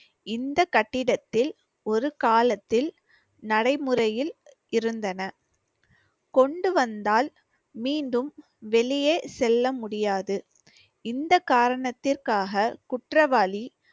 இந்த கட்டிடத்தில் ஒரு காலத்தில் நடைமுறையில் இருந்தன, கொண்டு வந்தால் மீண்டும் வெளியே செல்ல முடியாது. இந்த காரணத்திற்காக குற்றவாளி